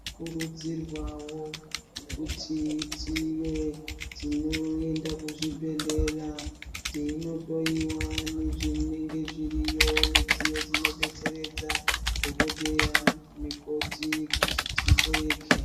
Tinokurudzirwao kuti tive tinoenda kuzvibhedhlera teinohloyiwa nezvinenge zviriyo midziyo dzinodetseredza dhokodheya namukoti kuti tihloyeke.